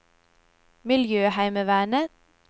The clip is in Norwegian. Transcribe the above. miljøheimevernet